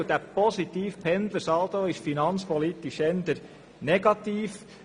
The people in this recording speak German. Dieser positive Saldo ist finanzpolitisch eher negativ.